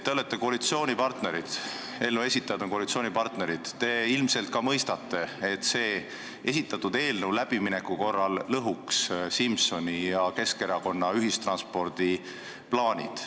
Te olete koalitsioonipartnerid – eelnõu esitajad on koalitsioonipartnerid –, te ilmselt ka mõistate, et see esitatud eelnõu läbimineku korral lõhuks Simsoni ja Keskerakonna ühistranspordiplaanid.